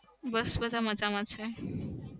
બસ બધા મજામાં છે.